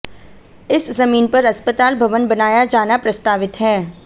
इस जमीन पर अस्पताल भवन बनाया जाना प्रस्तावित है